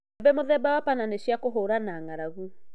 Mbembe mũthemba wa pannar ni cĩa kũhũra na ng'aragu